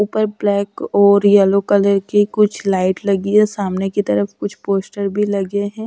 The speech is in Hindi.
ऊपर ब्लैक और येलो कलर की कुछ लाइट लगी है सामने की तरफ कुछ पोस्टर भी लगे हैं।